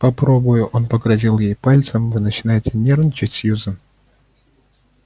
попробую он погрозил ей пальцем вы начинаете нервничать сьюзен